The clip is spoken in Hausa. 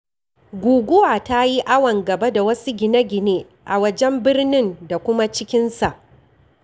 Guguwa tayi awan-gaba da wasu gine gine a wajen birnin da kuma cikinsa.